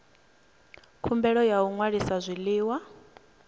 khumbelo ya u ṅwalisa zwiḽiwa